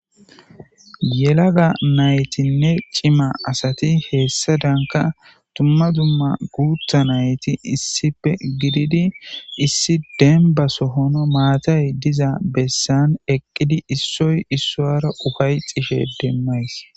yelagga naytinne cimma asati heessadanka dumma dumma guuththa nayti issippe gididi issi denba sohon maatay diza bessan eqqidi issoy issoyara ufay tishshin demays